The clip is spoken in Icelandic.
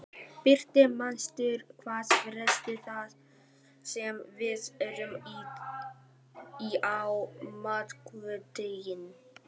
Birtir, manstu hvað verslunin hét sem við fórum í á miðvikudaginn?